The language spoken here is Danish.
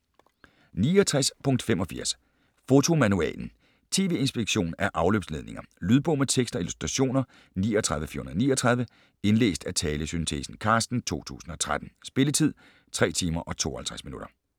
69.85 Fotomanualen: TV-inspektion af afløbsledninger Lydbog med tekst og illustrationer 39439 Indlæst af talesyntesen Carsten, 2013. Spilletid: 3 timer, 52 minutter.